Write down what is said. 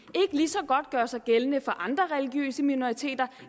lige så godt gøre sig gældende for andre religiøse minoriteter